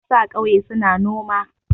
Matasa a ƙauye suna noma.